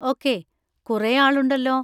Okay, കുറെ ആളുണ്ടല്ലോ.